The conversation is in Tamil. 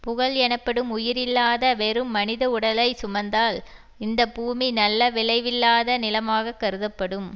புகழ் எனப்படும் உயிர் இல்லாத வெறும் மனித உடலை சுமந்தால் இந்தப்பூமி நல்ல விளைவில்லாத நிலமாகக் கருதப்படும்